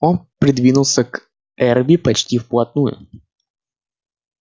он придвинулся к эрби почти вплотную